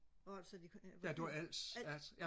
hvor var det du sagde de kom ja Als